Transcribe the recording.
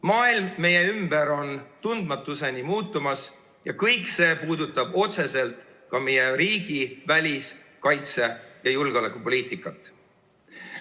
Maailm meie ümber on tundmatuseni muutumas ja kõik see puudutab otseselt ka meie riigi välis‑, kaitse‑ ja julgeolekupoliitikat.